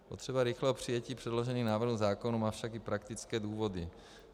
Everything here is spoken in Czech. Potřeba rychlého přijetí předložených návrhů zákonů má však i praktické důvody.